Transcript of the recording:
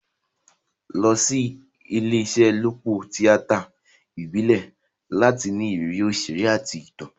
Lọ sí ìṣelọ́pọ̀ tíátà ìbílẹ̀ láti ní ìrírí òṣèré àti ìtàn.